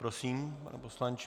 Prosím, pane poslanče.